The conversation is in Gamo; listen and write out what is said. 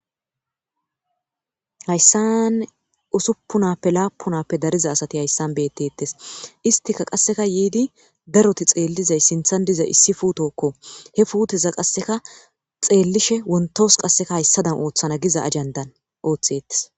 Hayssan usuppunappe laapunappe dariza asati hayssan beettetes istika qasseka yiidi daroti xeellizay sinthan dizay issi fuutokko he fuuteza qasseka xeellishe wontos qasseka hayssadan ooththana giza ajandan ooththettes.